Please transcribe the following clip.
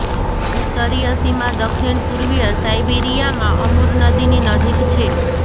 ઉત્તરીય સીમા દક્ષિણ પૂર્વીય સાઇબીરીયામાં અમુર નદીની નજીક છે